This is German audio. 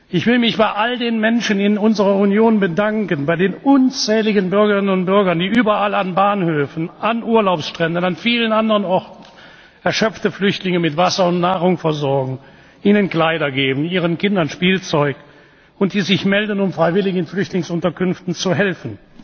Ich will mich bei all den Menschen in unserer Union bedanken, bei den unzähligen Bürgerinnen und Bürgern, die überall an Bahnhöfen, an Urlaubsstränden, an vielen anderen Orten erschöpfte Flüchtlinge mit Wasser und Nahrung versorgen, ihnen Kleider geben, ihren Kindern Spielzeug, und die sich melden, um freiwillig in Flüchtlingsunterkünften zu helfen.